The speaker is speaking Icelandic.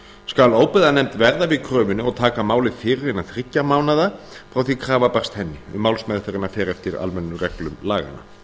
skal óbyggðanefnd verða við kröfunni og taka málið fyrir innan þriggja mánaða frá því að krafa barst henni um málsmeðferðina fer eftir almennum reglum laganna